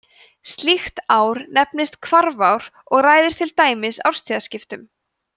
slíkt ár nefnist hvarfár og ræður til dæmis árstíðaskiptum